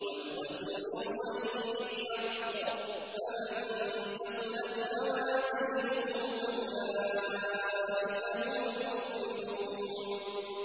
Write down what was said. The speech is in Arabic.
وَالْوَزْنُ يَوْمَئِذٍ الْحَقُّ ۚ فَمَن ثَقُلَتْ مَوَازِينُهُ فَأُولَٰئِكَ هُمُ الْمُفْلِحُونَ